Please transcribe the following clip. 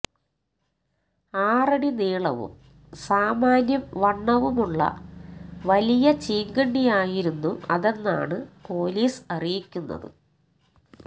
ആറടി നീളവും സാമാന്യം വണ്ണവുമുള്ള വലിയ ചീങ്കണ്ണിയായിരുന്നു അതെന്നാണ് പൊലീസ് അറിയിക്കുന്നത്